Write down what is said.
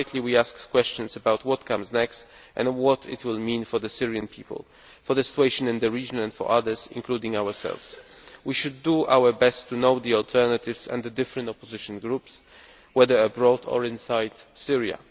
Rightly, we ask questions about what comes next and what it will mean for the Syrian people, for the situation in the region and for others, including ourselves. We should do our best to know the alternatives and the different opposition groups, whether abroad or inside Syria.